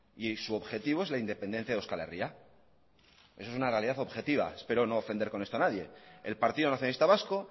y su objetivo es la independencia de euskal herria eso es una realidad objetiva espero no ofender con esto a nadie el partido nacionalista vasco